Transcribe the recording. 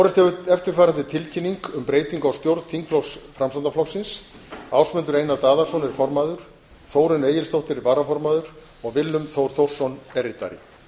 borist hefur eftirfarandi tilkynning um breytingu á stjórn þingflokks framsóknarflokksins ásmundur einar daðason er formaður þórunn egilsdóttir er varaformaður og willum þór þórsson er ritari